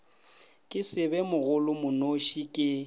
ke se be mogolomonoši ke